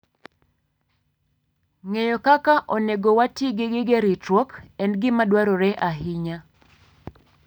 Ng'eyo kaka onego wati gi gige ritruok en gima dwarore ahinya.